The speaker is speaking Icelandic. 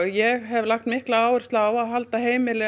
ég hef lagt áherslu á að halda heimili